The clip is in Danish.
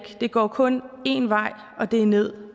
går kun en vej og det er nederst